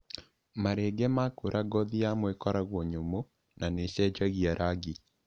Marenge makũra ngothi yamo ĩkoragwo nyũmũ na nĩĩcenjagia rangi.